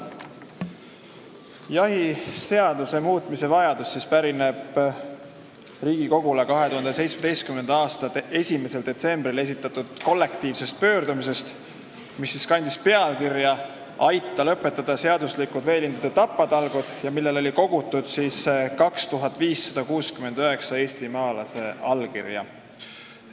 Jahiseaduse muutmise vajadus pärineb Riigikogule 2017. aasta 1. detsembril esitatud kollektiivsest pöördumisest, mis kandis pealkirja "Aita lõpetada seaduslikud veelindude tapatalgud!" ja millele oli kogutud 2569 eestimaalase allkirja.